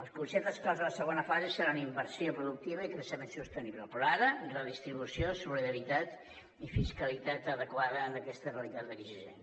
els conceptes claus de la segona fase seran inversió productiva i creixement sostenible però ara són redistribució solidaritat i fiscalitat adequada en aquesta realitat exigent